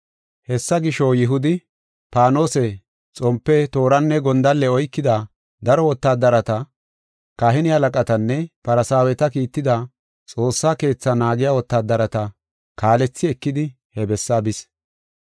Hessa gisho, Yihudi paanose, xompe, tooranne gondalle oykida daro wotaadareta, kahine halaqatinne Farsaaweti kiitida Xoossa Keetha naagiya wotaadareta kaalethi ekidi, he bessaa bis.